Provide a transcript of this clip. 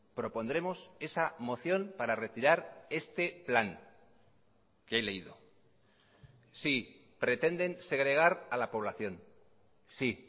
propondremos esa moción para retirar este plan que he leído sí pretenden segregar a la población sí